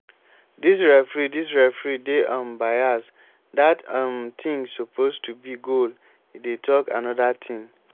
dis referee dis referee dey um bias dat um thing suppose to be goal e dey talk another thing